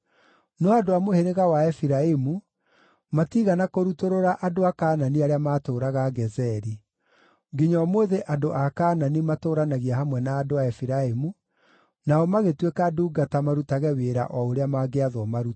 No andũ a mũhĩrĩga wa Efiraimu matiigana kũrutũrũra andũ a Kaanani arĩa maatũũraga Gezeri; nginya ũmũthĩ andũ a Kaanani matũũranagia hamwe na andũ a Efiraimu, nao magĩtuĩka ndungata marutage wĩra o ũrĩa mangĩathwo marute.